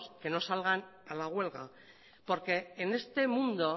que no salgan a la huelga porque en este mundo